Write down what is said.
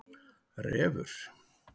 Refur